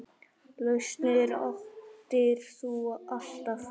Lausnir áttir þú alltaf.